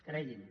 cregui’m